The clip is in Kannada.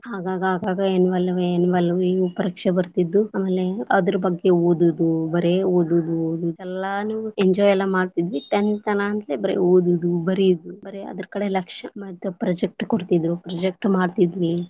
ಆಗಾಗಾಗ annual, annual ಹಿಂಗ್ ಪರೀಕ್ಷೆ ಬರ್ತಿದ್ವು ಆಮೇಲೆ ಅದ್ರ ಬಗ್ಗೆ ಓದುದು, ಬರೆ ಓದುದು ಎಲ್ಲಾನು enjoy ಮಾಡ್ತಿದ್ವಿ tenth ಅನ್ನಂತಲೇ ಬರೆ ಓದುದು ಬರಿಯುದು, ಬರೇ ಅದ್ರ ಕಡೆ ಲಕ್ಷ್ಯ ಮತ್ತ project ಕೊಡ್ತಿದ್ರು project ಮಾಡ್ತಿದ್ವಿ.